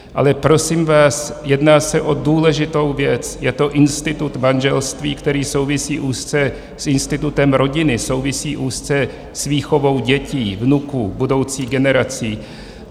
Ale prosím vás, jedná se o důležitou věc, je to institut manželství, který souvisí úzce s institutem rodiny, souvisí úzce s výchovou dětí, vnuků, budoucích generací.